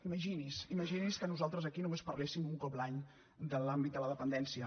imagini’s imagini’s que nosaltres aquí només parléssim un cop l’any de l’àmbit de la dependència